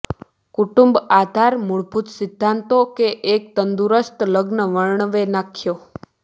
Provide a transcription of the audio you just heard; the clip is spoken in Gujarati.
કુટુંબ આધાર મૂળભૂત સિદ્ધાંતો કે એક તંદુરસ્ત લગ્ન વર્ણવે નાખ્યો